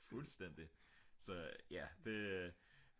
fuldstændig så ja det